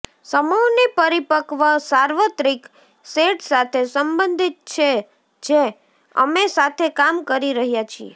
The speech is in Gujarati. સમૂહની પરિપક્વ સાર્વત્રિક સેટ સાથે સંબંધિત છે જે અમે સાથે કામ કરી રહ્યા છીએ